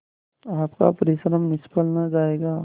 आपका परिश्रम निष्फल न जायगा